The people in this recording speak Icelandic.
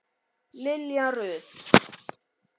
Lilja Rut.